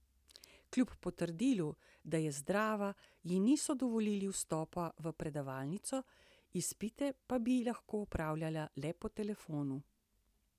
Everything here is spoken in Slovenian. Kljub potrdilu, da je zdrava, ji niso dovolili vstopa v predavalnico, izpite pa bi lahko opravljala le po telefonu.